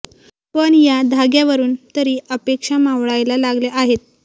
पण या धाग्यावरून तरी अपेक्षा मावळायला लागल्या आहेत